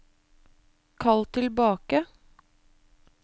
kall tilbake